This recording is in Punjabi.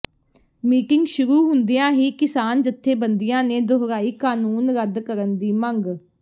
ਮੀਟਿੰਗ ਸ਼ੁਰੂ ਹੁੰਦਿਆਂ ਹੀ ਕਿਸਾਨ ਜਥੇਬੰਦੀਆਂ ਨੇ ਦੁਹਰਾਈ ਕਾਨੂੰਨ ਰੱਦ ਕਰਨ ਦੀ ਮੰਗ